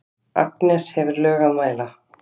Agnes hefur lög að mæla.